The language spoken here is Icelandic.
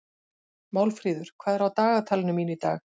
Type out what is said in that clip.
Málfríður, hvað er á dagatalinu mínu í dag?